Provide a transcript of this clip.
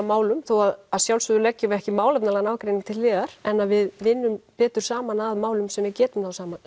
málum þó að sjálfsögðu leggjum við ekki málefnalegan ágreining til hliðar en að við vinnum betur saman að málum sem við getum náð saman